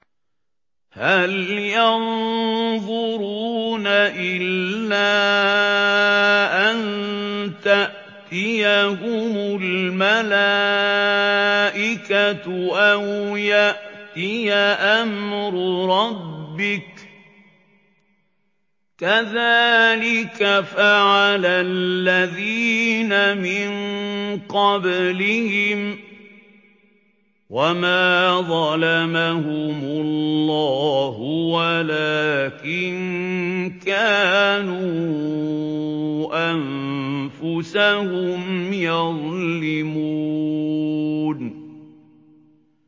هَلْ يَنظُرُونَ إِلَّا أَن تَأْتِيَهُمُ الْمَلَائِكَةُ أَوْ يَأْتِيَ أَمْرُ رَبِّكَ ۚ كَذَٰلِكَ فَعَلَ الَّذِينَ مِن قَبْلِهِمْ ۚ وَمَا ظَلَمَهُمُ اللَّهُ وَلَٰكِن كَانُوا أَنفُسَهُمْ يَظْلِمُونَ